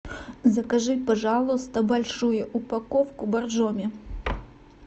закажи пожалуйста большую упаковку боржоми